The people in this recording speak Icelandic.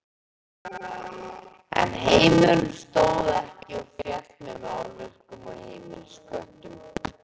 En heimurinn stóð ekki og féll með málverkum og heimilisköttum.